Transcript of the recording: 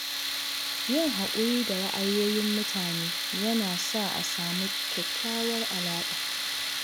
Yin haƙuri da ra’ayoyin mutane yana sa a samu kyakkyawar alaƙa.